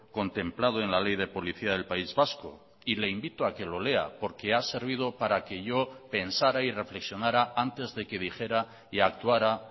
contemplado en la ley de policía del país vasco y le invito a que lo lea porque ha servido para que yo pensara y reflexionara antes de que dijera y actuara